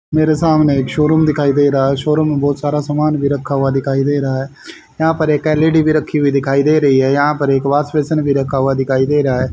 मेरे सामने एक शोरूम दिखाई दे रहा है शोरूम मे बहुत सारा सामान भी रखा हुआ दिखाई दे रहा है यहां पर एक एल_ई_डी भी रखी हुई दिखाई दे रही है यहां पर एक वॉश बेसिन भी रखा हुआ दिखाई दे रहा है।